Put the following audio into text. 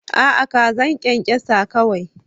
A'a, kazan kenkesa kwai.